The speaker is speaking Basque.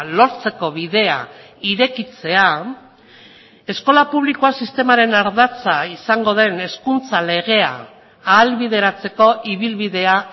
lortzeko bidea irekitzea eskola publikoa sistemaren ardatza izango den hezkuntza legea ahalbideratzeko ibilbidea